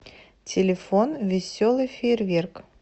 телефон веселый фейерверк